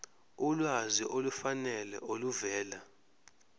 ulwazi olufanele oluvela